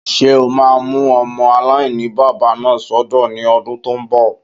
Ṣé o máa mú ọmọ aláìní-baba náà sọ́dọ̀ ní ọdún tó n bọ̀?